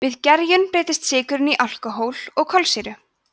við gerjun breytist sykurinn í alkóhól og kolsýru